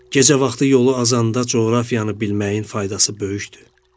Gecə vaxtı yolu azanda coğrafiyanı bilməyin faydası böyükdür.